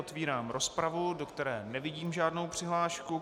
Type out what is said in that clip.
Otevírám rozpravu, do které nevidím žádnou přihlášku.